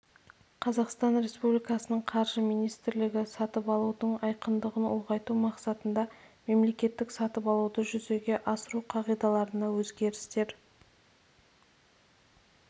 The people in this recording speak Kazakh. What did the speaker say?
қазақстан республикасының қаржы министрлігі сатып алудың айқындығың ұлғайту мақсатында мемлекеттік сатып алуды жүзеге асыру қағидаларына өзгерістер